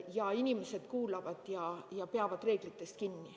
Ja inimesed kuulavad ja peavad reeglitest kinni.